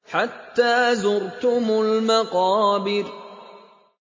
حَتَّىٰ زُرْتُمُ الْمَقَابِرَ